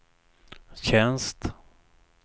tjänst